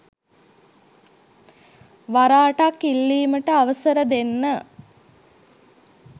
වර අටක් ඉල්ලීමට අවසර දෙන්න.